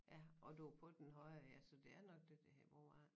Ja og du på den høje ja så det er nok den der hedder Brovej